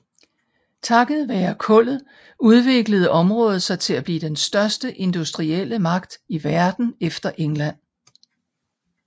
Takket være kullet udviklede området sig til at blive den største industrielle magt i Verden efter England